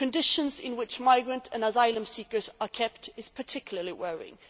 The conditions in which migrant and asylum seekers are kept are particularly worrying.